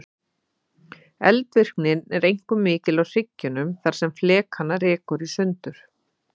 Eldvirknin er einkum mikil á hryggjunum þar sem flekana rekur sundur.